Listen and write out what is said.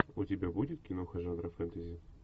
у тебя будет киноха жанра фэнтези